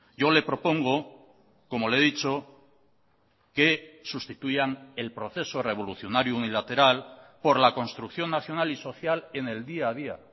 yo le propongo como le he dicho que sustituyan el proceso revolucionario unilateral por la construcción nacional y social en el día a día